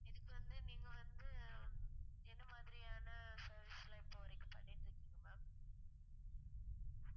இதுக்கு வந்து நீங்க வந்து என்ன மாதிரியான service லாம் இப்போ வரைக்கும் பண்ணிட்டு இருக்கீங்க ma'am